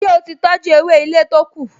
Ṣé ó ti tọjú ewé ilé to kù?